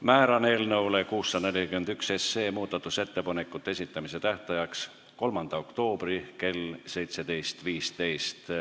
Määran eelnõu 641 muudatusettepanekute esitamise tähtajaks 3. oktoobri kell 17.15.